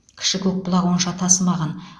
кіші көкбұлақ онша тасымаған